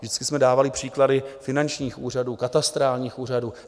Vždycky jsme dávali příklady finančních úřadů, katastrálních úřadů.